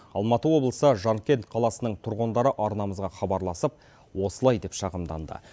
алматы облысы жаркент қаласының тұрғындары арнамызға хабарласып осылай деп шағымданды